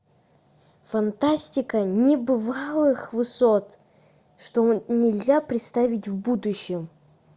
фантастика небывалых высот что нельзя представить в будущем